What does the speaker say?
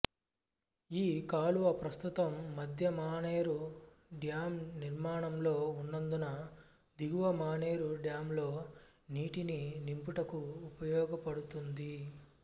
ఈ కాలువ ప్రస్తుతం మధ్య మానేరు డ్యాం నిర్మాణంలో ఉన్నందున దిగువ మానేరు డ్యాం లో నీటిని నింపుటకు ఉపయోగపడుతుంది